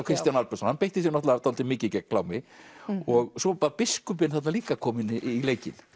Kristján Albertsson hann beitti sér náttúrulega dálítið mikið gegn klámi og svo var biskupinn líka kominn í leikinn